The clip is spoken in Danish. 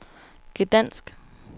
Gdansk